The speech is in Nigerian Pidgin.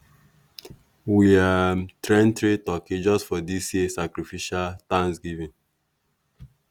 we um train three turkey just for dis year sacrificial thanksgiving.